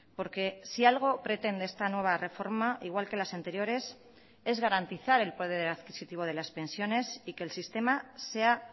porque si algo pretende esta nueva reforma igual que las anteriores es garantizar el poder adquisitivo de las pensiones y que el sistema sea